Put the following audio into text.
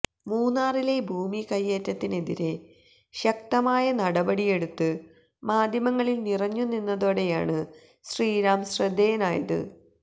മൂന്നാറിലെ ഭൂമി കയ്യേറ്റത്തിനെതിരേ ശക്തമായ നടപടിയെടുത്ത് മാധ്യമങ്ങളിൽ നിറഞ്ഞു നിന്നതോടെയാണ് ശ്രീറാം ശ്രദ്ധേയനായത്